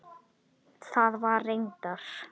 Það var reyndar